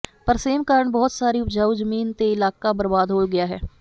ਪਰ ਸੇਮ ਕਾਰਨ ਬਹੁਤ ਸਾਰੀ ਉਪਜਾਊ ਜ਼ਮੀਨ ਤੇ ਇਲਾਕਾ ਬਰਬਾਦ ਹੋ ਗਿਆ ਹੈ